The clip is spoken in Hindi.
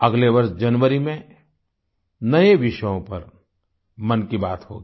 अगले वर्ष जनवरी में नए विषयों पर मन की बात होगी